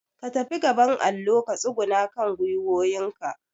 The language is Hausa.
ka fita gaban allo ka tsuguna akan gwiwowin ka